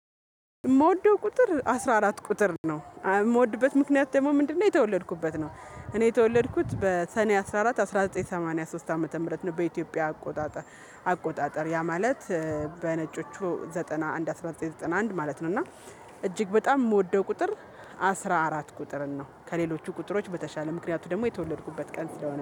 የምወደው ቁጥር አስራ አራት ቁጥር ነው የምወድበት ምክንያት ደግሞ ምንድነው? የተወለድኩበት ነው። እኔ የተወለድኩት በሰኔ አስራ አራት አንድ ሺህ ዘጠኝ መቶ ሰማኒያ ሶስት ዓመተ ምህረት ነው በኢትዮጵያ አቆጣጠር አቆጣጠር ያ ማለት በነጮቹ ዘጠና አንድ አንድ ሺህ ዘጠኝ መቶ ዘጠና አንድ ማለት ነው። እና እጅግ በጣም የምወደው ቁጥር አስራ አራት ቁጥር ነው። ከሌሎቹ ቁጥሮች በተሻለ ምክንያቱ ደግሞ የተወለድኩበት ቀን ስለሆነ